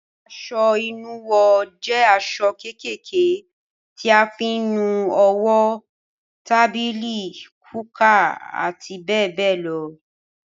Aṣọ ìnuwọ́ jẹ aṣọ kékèké tí a fi ń nu owó, tábìlì, kúkà àti bẹ́ẹ̀ bẹ́ẹ̀ lọ.